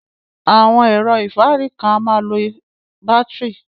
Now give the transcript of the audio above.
Awọn ẹ̀rọ̀ ifárí kan à màá ń lọ bátirí.